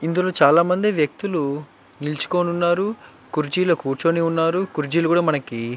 ఇందులో చాల మంది వ్యక్తులు నిలుచుకొని ఉన్నారు కుర్చీలో కూర్చొని ఉన్నారు కూర్జిలు కూడా మనకి --